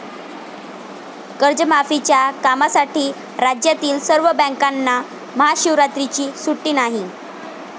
कर्जमाफीच्या कामासाठी राज्यातील सर्व बँकांना महाशिवरात्रीची सुट्टी नाही